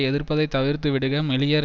எதிர்ப்தைத் தவிர்த்து விடுக மெலியர்